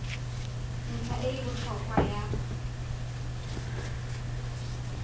ntlha e e botlhokwa ya